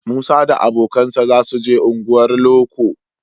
Musa da abokansa za su je unguwar loko